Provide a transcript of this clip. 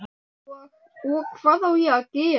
Og, og. hvað á ég að gera?